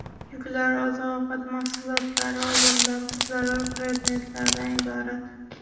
Yuklar oziq-ovqat mahsulotlari va birlamchi zarur predmetlardan iborat.